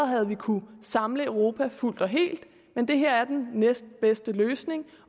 havde kunnet samle europa fuldt og helt men det her er den næstbedste løsning